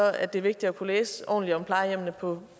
at det er vigtigt at kunne læse ordentligt om plejehjemmene på